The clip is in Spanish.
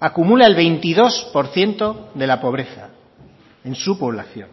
acumula el veintidós por ciento de la pobreza en su población